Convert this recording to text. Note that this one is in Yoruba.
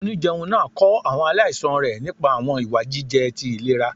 Onijẹunjẹ naa kọ awọn alaisan rẹ nipa awọn iwa jijẹ ti ilera.